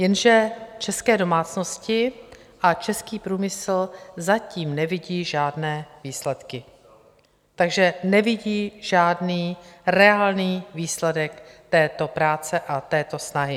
Jenže české domácnosti a český průmysl zatím nevidí žádné výsledky, takže nevidí žádný reálný výsledek této práce a této snahy.